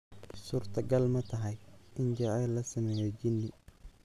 Suurtagal ma tahay in jacayl la sameeyo jinni?